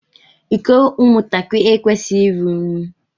Iko ụmụ ntakịrị ekwesighi ịrụ ụnyi.